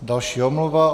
Další omluva.